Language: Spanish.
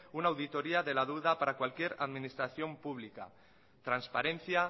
una auditoría de la deuda para cualquier administración pública transparencia